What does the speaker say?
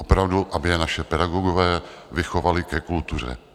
Opravdu, aby je naši pedagogové vychovali ke kultuře.